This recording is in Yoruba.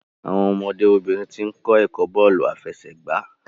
Àwọn ọmọdé obìnrin tín kò ẹkọ bóòlù afẹsẹgba